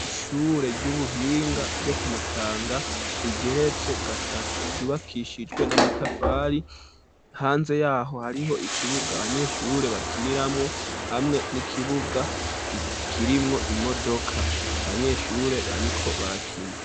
Ishure ry'ubuhinga ryo ku Mutanga, rigeretse gatatu ryubakishijwe n'amatafari, hanze yaho hariho ikibuga abanyeshure bakiniramo, hamwe n'ikibuga ikirimwo imodoka, banyeshure bariko barakina.